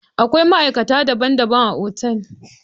Akwai ma'aikata daban-daban a otal.